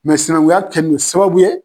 Mɛ sinnankuya kɛlen don sababu ye